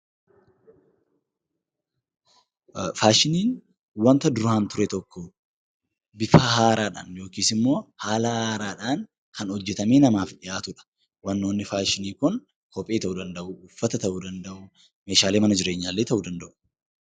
Faashiniin wanta duraan ture tokko bifa haaraadhaan yookaan immoo haala haaraadhaan kan hojjatamee namaaf dhiyaatudha. Faashiniin kophee, uffata, meeshaalee mana jireenyaa illee ta'uu danda'u.